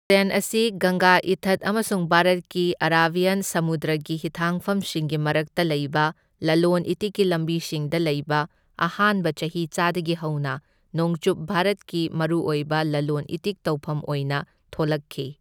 ꯑꯁꯤ ꯒꯪꯒꯥ ꯏꯊꯠ ꯑꯃꯁꯨꯡ ꯚꯥꯔꯠꯀꯤ ꯑꯔꯥꯕꯤꯌꯟ ꯁꯃꯨꯗ꯭ꯔꯒꯤ ꯍꯤꯊꯥꯡꯐꯝꯁꯤꯡꯒꯤ ꯃꯔꯛꯇ ꯂꯩꯕ ꯂꯂꯣꯟ ꯏꯇꯤꯛꯀꯤ ꯂꯝꯕꯤꯁꯤꯡꯗ ꯂꯩꯕ ꯑꯍꯥꯟꯕ ꯆꯍꯤꯆꯥꯗꯒꯤ ꯍꯧꯅ ꯅꯣꯡꯆꯨꯞ ꯚꯥꯔꯠꯀꯤ ꯃꯔꯨꯑꯣꯏꯕ ꯂꯂꯣꯟ ꯏꯇꯤꯛ ꯇꯧꯐꯝ ꯑꯣꯏꯅ ꯊꯣꯂꯛꯈꯤ꯫